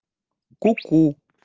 ку-ку